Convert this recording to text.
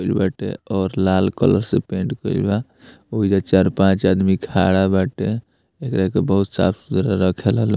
होईल बाटे और लाल कलर से पेंट कईल बा ओइजा चार पांच आदमी खड़ा बाटे एकरा के बहुत साफ़-सुथरा रखेला लोग।